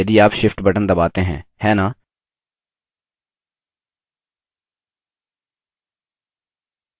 object का आकार बदलने के लिए यह काफी सरल है यदि आप shift बटन दबाते हैं है न